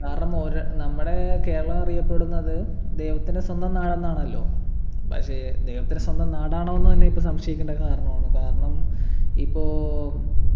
കാരണം ഓര നമ്മടെ കേരളം അറിയപ്പെടുന്നത് ദൈവത്തിൻ്റെ സ്വന്തം നാടെന്നാണല്ലോ പക്ഷെ ദൈവത്തിൻ്റെ സ്വന്തം നാടാണോ എന്ന് തന്നെ ഇപ്പൊ സംശയിക്കണ്ട കാരണമാണ് കാരണം ഇപ്പൊ